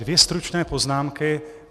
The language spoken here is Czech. Dvě stručné poznámky.